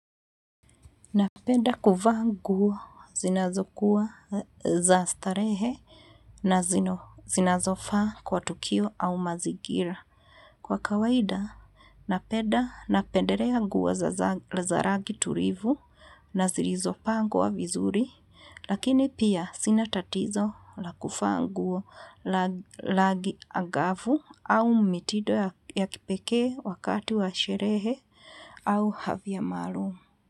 Napenda kuvaa nguo zinazokuwa za starehe na zinazofaa kwa tukio au mazingira. Kwa kawaida, napenda napendelea nguo za rangi tulivu na zilizopangwa vizuri, lakini pia sina tatizo la kuvaa nguo. Rangi angavu au mitindo ya kipekee wakati wa sherehe au hadhia maalum.